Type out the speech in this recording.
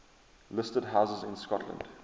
listed houses in scotland